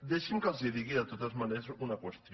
deixin me que els digui de totes maneres una qüestió